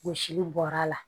Wɔsili bɔra la